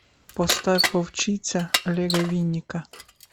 поставь вовчиця олега винника